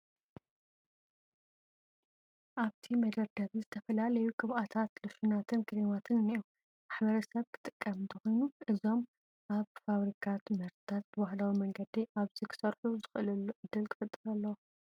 ኣብቲ መደርደሪ ዝተፈላዩ ቅብኣታት፣ ሎሽናትን ክሬማትን እኔዉ፡፡ ማሕበረሰብ ክጥቀም እንተኾይኑ እዞም ናይ ፋብሪካ ምህርትታት ብባህላዊ መንገዲ ኣብዚ ክስርሑ ዝኽእልሉ ዕድል ክፍጠር ኣለዎ፡፡